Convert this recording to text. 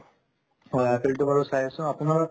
হয়, IPL তো বাৰু চাই আছো আপোনাৰ